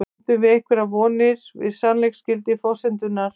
Bindum við einhverjar vonir við sannleiksgildi forsendunnar?